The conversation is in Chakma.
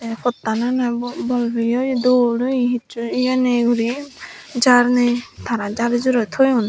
te phottan ene bor bol peye oye dol oye hicchu ye nei guri jar nei tara jari jaroi toyon.